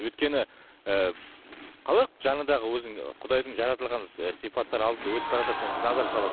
өйткені ыыы қалай жаңындағы өзің құдайдың жаратылған ы сипаттары алдыңда өтіп баратады сен назар саласың